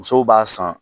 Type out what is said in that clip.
Musow b'a san